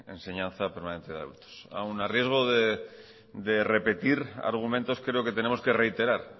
enseñanza permanente de adultos aun a riesgo de repetir argumentos creo que tenemos que reiterar